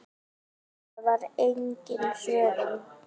Það var engin svörun.